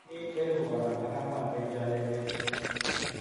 Imin elpu konom ak angw'an en chonyelnyel.